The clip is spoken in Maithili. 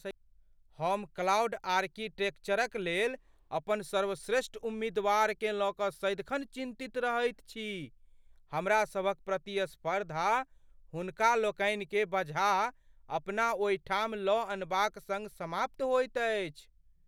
हम क्लाउड आर्किटेक्चरक लेल अपन सर्वश्रेष्ठ उम्मीदवारकेँ लऽ कऽ सदिखन चिन्तित रहैत छी। हमरा सभक प्रतिस्पर्धा हुनका लोकनिकेँ बझा अपना ओहि ठाम लऽ अनबाक सङ्ग समाप्त होइत अछि।